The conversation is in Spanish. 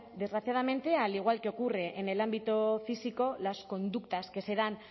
desgraciadamente al igual que ocurre en el ámbito físico las conductas que se dan